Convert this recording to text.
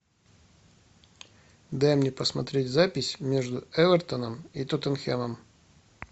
дай мне посмотреть запись между эвертоном и тоттенхэмом